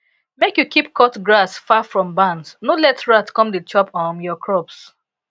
make you keep cut grass far from barns no let rat dey come chop um your crops